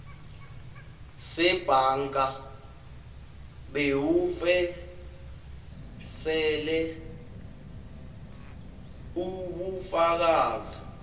sebhanka bewufeksele ubufakazi